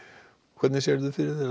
hvernig sérðu fyrir þér